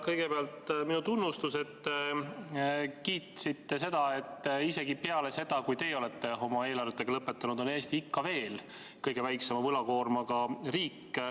Kõigepealt minu tunnustus, et kiitsite, kuidas isegi peale seda, kui teie olete oma eelarvetega lõpetanud, on Eesti ikka veel kõige väiksema võlakoormaga riik.